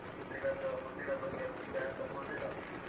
Food ನದ್ದು food ನ ಬಗ್ಗೆ ಅಷ್ಟು care ತಗೋಳೋದಿಲ್ಲ ಅವ್ರು.